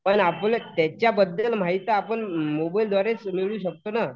पण आपण त्याच्याबद्दल माहिती आपण मोबाईलद्वारेच मिळवू शकतो ना.